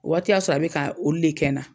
A waati y'a sɔrɔ a bɛ ka olu de kɛ n na.